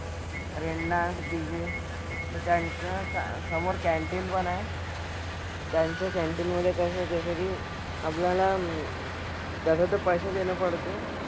Rain dance, DJ, तर त्यांचं स समोर canteen पण आहे. त्यांच्या canteen मधे कसं जसं की आपल्याला तसं तर पैसे देणं पडते.